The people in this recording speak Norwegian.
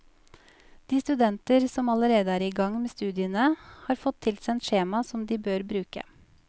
De studenter som allerede er i gang med studiene, har fått tilsendt skjema som de bør bruke.